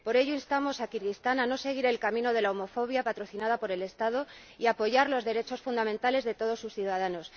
Por ello, instamos a Kirguistán a no seguir el camino de la homofobia patrocinada por el Estado y a apoyar los derechos fundamentales de todos sus ciudadanos.